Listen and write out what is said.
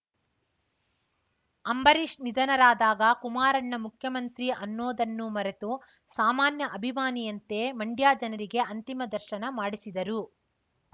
ಅಂಬರೀಷ್‌ ನಿಧನರಾದಾಗ ಕುಮಾರಣ್ಣ ಮುಖ್ಯಮಂತ್ರಿ ಅನ್ನೋದನ್ನು ಮರೆತು ಸಾಮಾನ್ಯ ಅಭಿಮಾನಿಯಂತೆ ಮಂಡ್ಯ ಜನರಿಗೆ ಅಂತಿಮ ದರ್ಶನ ಮಾಡಿಸಿದರು